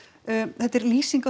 þetta er lýsing á